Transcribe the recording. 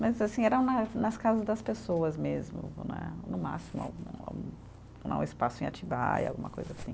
Mas, assim, eram nas nas casas das pessoas mesmo né, no máximo, um espaço em Atibaia, alguma coisa assim.